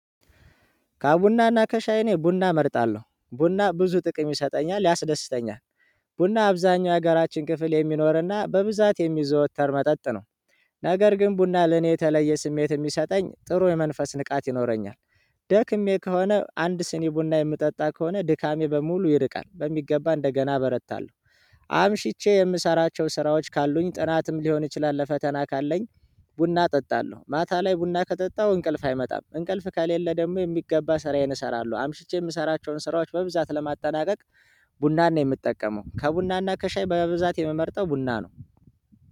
ከቡናና ከሻይ እኔ ቡና እመርጣለሁ ቡና ብዙ ጥቅም ይሰጠኛል ያስደስተኛል። ቡና አብዛኛው የሀገራችን ክፍል የሚኖርና በብዛት የሚዘወተር መጠጥ ነው። ነገር ግን ቡና ለኔ የተለየ ስሜት የሚሰጠኝ ጥሩ የመንፈስ ንቃት ይኖረኛል። ደክሜ ከሆነ አንድ ስኒ ቡና የምጠጣ ከሆነ ድካሜ በሙሉ ይርቃል በሚገባ እንደገና እበረታለሁ። አምሽቼ የምሰራቸው ስራዎች ካሉኝ ጥናትም ሊሆን ይችላል ለፈተና ካለኝ። ቡና እጠጣለሁ ማታ ላይ ቡና ከጠጣሁ እንቅልፍ አይመጣም እንቅልፍ ከሌለ ደግሞ የሚገባ ስራዬን እሰራለሁ። አምሽቼ የምሰራቸውን ስራዎች በብዛት ለማጠናቀቅ። ቡናን ነው የምጠቀመው ከቡናና ከሻይ በብዛት የምመርጠው ቡና ነው።